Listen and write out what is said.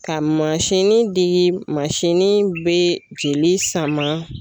Ka mansini digi mansin bɛ jeli sama.